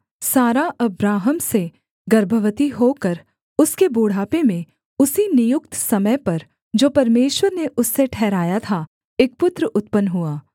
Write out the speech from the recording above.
सारा अब्राहम से गर्भवती होकर उसके बुढ़ापे में उसी नियुक्त समय पर जो परमेश्वर ने उससे ठहराया था एक पुत्र उत्पन्न हुआ